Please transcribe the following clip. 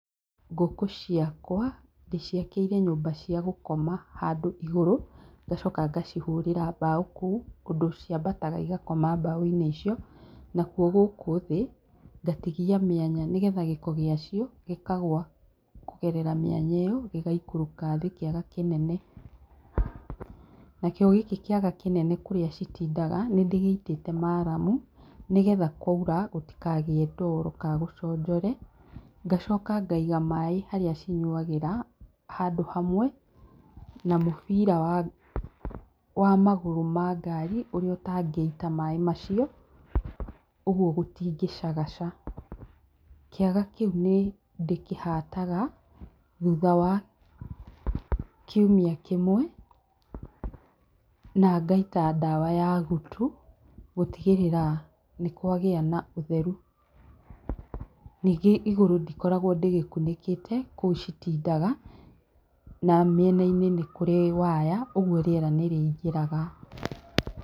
Ngũkũ ciakwa ndĩciakĩire nyũmba cia gũkoma handũ igũrũ, ngacoka ngacihũrĩra mbaũ kũu, kũndũ ciambataga igakoma mbaũ-inĩ icio. Nakuo gũkũ thĩ, ngatigia mĩanya nĩgetha gĩko gĩa cio gĩkagwa kũgerera mĩanya ĩyo gĩgikũrũka thĩ kĩaga kĩnene. Nakĩo gĩkĩ kĩaga kĩnene kũrĩa citindaga, nĩ ndĩgĩitĩte maramu nĩgetha kwaura gũtikagĩe ndoro ka gũconjore. Ngacoka ngaiga maĩ harĩa cinyuagĩra, handũ hamwe na mũbira wa magũrũ ma ngari, ũrĩa ũtangĩita maĩ macio, ũguo gũtingĩcagaca. kĩaga kĩu nĩ ndĩkĩhataga thutha wa kiumia kĩmwe, na ngaita dawa ya gutu, gũtigĩrĩrĩra nĩ kwagĩa na ũtheru. Ningĩ igũrũ ndĩkoragwo ndĩgĩkunĩkĩte kũu citindaga na mĩenainĩ nĩ kũrĩ waya ũguo rĩera nĩ rĩ ingĩraga.